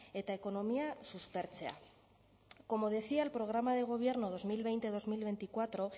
eta ekonomia suspertzea como decía el programa de gobierno dos mil veinte dos mil veinticuatro